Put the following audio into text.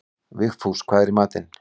Vigfús, hvað er í matinn?